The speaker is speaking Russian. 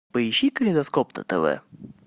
поищи калейдоскоп на тв